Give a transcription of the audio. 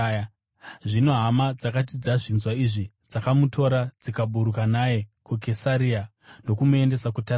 Zvino hama dzakati dzazvinzwa izvi, dzakamutora dzikaburuka naye kuKesaria ndokumuendesa kuTasasi.